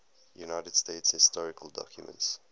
united states historical documents